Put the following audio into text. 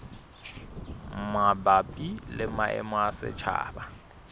mabapi le maemo a setjhaba